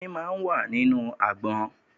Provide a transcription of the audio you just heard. Omi máa ń wà nínú àgbọn.